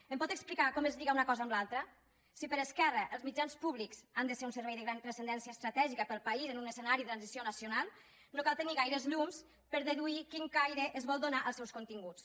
em pot explicar com es lliga una cosa amb l’altra si per esquerra els mitjans públics han de ser un servei de gran transcendència estratègica per al país en un escenari de transició nacional no cal tenir gaires llums per deduir quin caire es vol donar als seus continguts